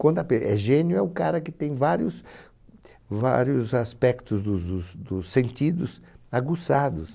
Quando a pe é gênio é o cara que tem vários vários aspectos dos dos dos sentidos aguçados.